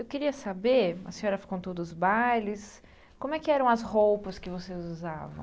Eu queria saber, a senhora fi contou dos todos os bailes, como é que eram as roupas que vocês usavam?